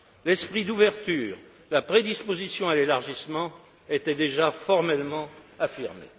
L'esprit d'ouverture, la prédisposition à l'élargissement étaient déjà formellement affirmés.